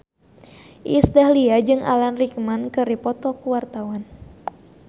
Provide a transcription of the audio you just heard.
Iis Dahlia jeung Alan Rickman keur dipoto ku wartawan